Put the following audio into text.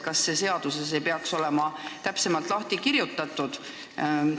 Kas see ei peaks olema seaduses täpsemalt lahti kirjutatud?